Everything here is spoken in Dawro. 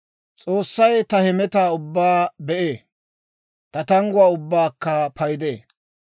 S'oossay ta hemetaa ubbaa be'ee; ta tangguwaa ubbaakka paydee.